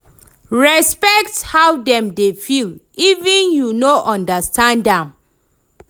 Respekt how dem dey feel even if yu no understand am